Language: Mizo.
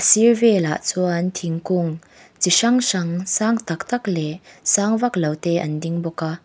a sir velah chuan thingkung chi hrang hrang sang taktak leh sang vak lo te an ding bawk a.